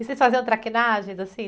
E vocês faziam traquinagens, assim?